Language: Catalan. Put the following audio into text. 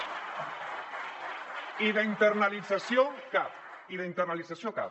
i d’internalització cap i d’internalització cap